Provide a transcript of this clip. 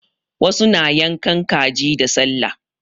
Wasu na yankan kaji da sallah.